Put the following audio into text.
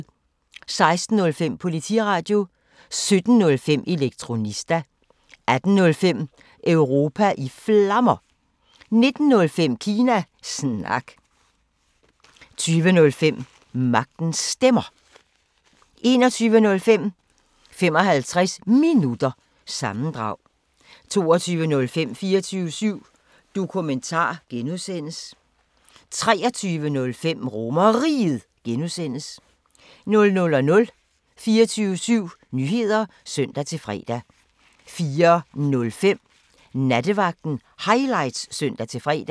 16:05: Politiradio 17:05: Elektronista 18:05: Europa i Flammer 19:05: Kina Snak 20:05: Magtens Stemmer 21:05: 55 Minutter – sammendrag 22:05: 24syv Dokumentar (G) 23:05: RomerRiget (G) 00:00: 24syv Nyheder (søn-fre) 04:05: Nattevagten Highlights (søn-fre)